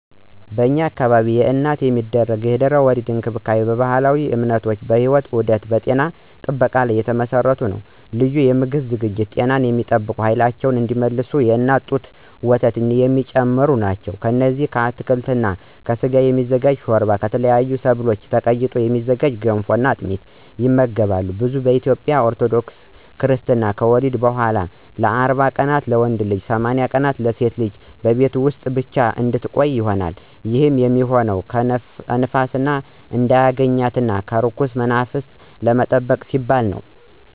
በኢትዮጵያ ውስጥለአዲስ እናት የሚደረጉ የድህረ-ወሊድ እንክብካቤዎች በባህላዊ እምነቶች፣ በሕይወት ዑደት እና በጤና ጥበቃ ላይ የተመሰረቱ ናቸው። ልዩ የምግብ ዝግጅቶች ጤናን የሚጠብቁ፣ ኃይላቸውን እንዲመልሱ እና የእናት ጡት ወተት የሚጨምሩ ናቸው። እነዚህም ከአትክልት እና ከስጋ የሚዘጋጅ ሾርባ፣ ከተለያዩ ሰብሎች ተቀይጠው የሚዘጋጁ ገንፎ እና አጥሚት ይመገባሉ። ብዙ ኢትዮጵያውያን ኦርቶዶክስ ክርስታኖች ከወሊድ በኋላ እናት 40 ቀናት (ለወንድ ሕፃን) ወይም 80 ቀናት (ለሴት ሕፃን) ቤት ውስጥ ብቻ እንድትቆይ ያምናሉ። ይህም የሚሆነው ንፋስ እንዳያገኛት እና ከርኩስ መንፈስ ለመጠበቅ በሚል ነው።